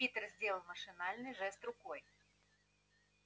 питер сделал машинальный жест рукой